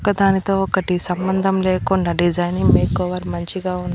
ఒకదానితో ఒకటి సంబంధం లేకుండా డిజైనింగ్ మేకోవర్ మంచిగా ఉంది.